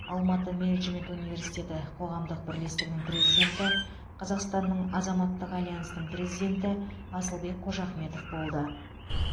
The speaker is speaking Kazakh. алматы менеджмент университеті қоғамдық бірлестігінің президенті қазақстанның азаматтық альянсының президенті асылбек қожахметов болды